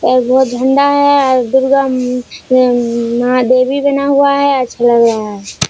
और बहुत झंडा है और दुर्गा उम्म उम्म मां देवी बना हुआ है अच्छा लग रहा है।